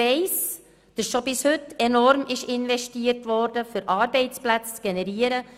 Ich weiss, dass schon bis heute enorm viel investiert wurde, um Arbeitsplätze zu generieren.